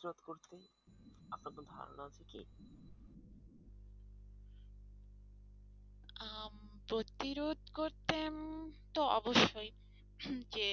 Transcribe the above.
প্রতিরোধ করতে তো অবশ্যই যে